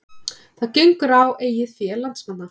Það gengur á eigið fé landsmanna